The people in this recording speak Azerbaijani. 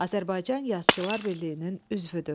Azərbaycan Yazıçılar Birliyinin üzvüdür.